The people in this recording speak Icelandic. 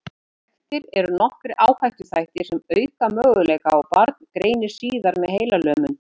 Þekktir eru nokkrir áhættuþættir sem auka möguleika á að barn greinist síðar með heilalömun.